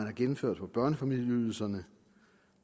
er gennemført på børnefamilieydelsen